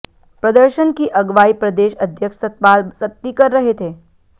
प्रदर्शन की अगवाई प्रदेश अध्यक्ष सतपाल सत्ती कर रहे थे